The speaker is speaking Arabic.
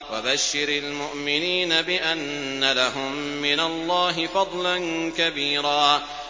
وَبَشِّرِ الْمُؤْمِنِينَ بِأَنَّ لَهُم مِّنَ اللَّهِ فَضْلًا كَبِيرًا